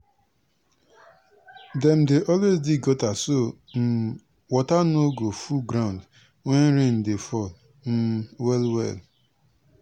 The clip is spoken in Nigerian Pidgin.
na grandmama experience bin um dey help us quick see say insect don dey damage di um cassava leaf dem.